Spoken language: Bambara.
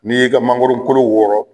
N'i y'i ka mangoro kolo wɔrɔ